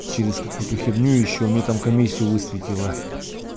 через какую-то херню ещё у меня там комиссию высветила